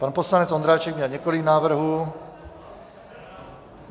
Pan poslanec Ondráček měl několik návrhů.